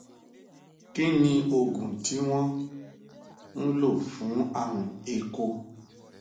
kí ni oògùn tí wọn ń lò fún àrùn éeko